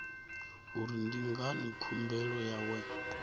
uri ndi ngani khumbelo yawe